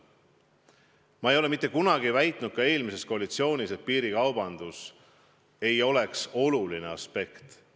Ma ei ole mitte kunagi väitnud ka eelmises koalitsioonis, et piirikaubandus ei ole oluline aspekt.